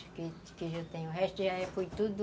O resto já foi tudo...